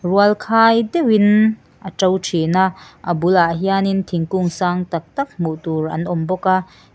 rualkhai deuhin a to thina a bulah hianin thingkung sang tak tak hmuhtur an awmbawk a--